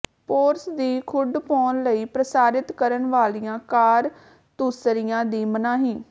ਪੋਰਸ ਦੀ ਖੁੱਡ ਪਾਉਣ ਲਈ ਪ੍ਰਸਾਰਿਤ ਕਰਨ ਵਾਲੀਆਂ ਕਾਰਤੂਸਰੀਆਂ ਦੀ ਮਨਾਹੀ